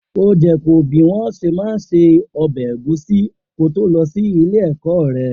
O jẹ́ kọ́ bí wọn ṣe má ń ṣe ọbẹ̀ ẹ̀gúsí ko tó lọ sí ilé ọkọ rẹ